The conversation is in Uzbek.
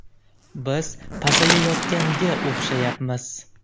Biz pasayayotganga o‘xshayapmiz!